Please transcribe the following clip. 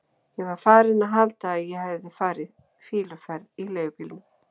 Ég var farinn að halda að ég hefði farið fýluferð í leigubílnum.